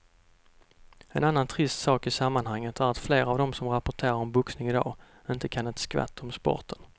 En annan trist sak i sammanhanget är att flera av de som rapporterar om boxning i dag inte kan ett skvatt om sporten.